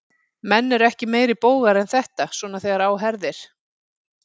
Menn eru ekki meiri bógar en þetta, svona þegar á herðir.